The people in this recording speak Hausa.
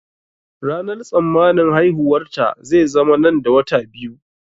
Ranar tsammanin haihuwarta zai zama nan da wata biyu.